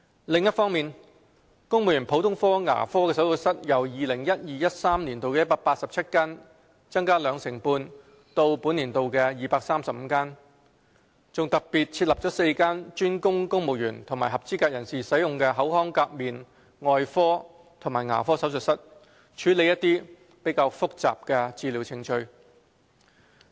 另一方面，公務員普通科牙科手術室由 2012-2013 年度的187間增加兩成半至本年度的235間，更特別設立4間專供公務員及合資格人士使用的口腔頜面外科及牙科手術室，處理較複雜的治療程序。